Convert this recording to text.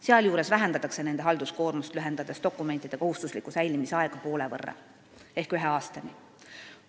Sealjuures vähendatakse nende halduskoormust, lühendades dokumentide kohustusliku säilitamise aega poole võrra ehk ühe aastani.